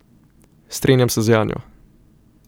Strinjam se z Janjo.